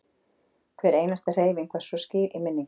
Hver einasta hreyfing var svo skýr í minningunni.